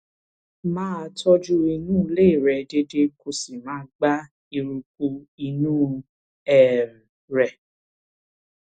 máa tọjú inú ilé rẹ déédéé déédéé kó o sì máa gbá eruku inú um rẹ